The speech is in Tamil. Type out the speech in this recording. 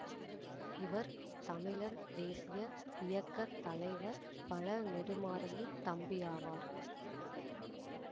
இவர் தமிழர் தேசிய இயக்க தலைவர் பழ நெடுமாறனின் தம்பியாவார்